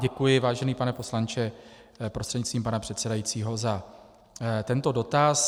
Děkuji, vážený pane poslanče, prostřednictvím pana předsedajícího, za tento dotaz.